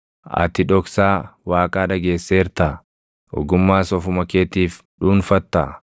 Ati dhoksaa Waaqaa dhageesseertaa? Ogummaas ofuma keetiif dhuunfattaa?